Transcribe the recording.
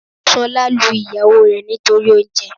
Sọ́lá lu ìyàwó rẹ̀ nítorí oúnje